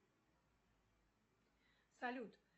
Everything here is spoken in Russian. салют